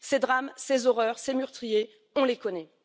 Ces drames, ces horreurs, ces meurtriers, on les connaît.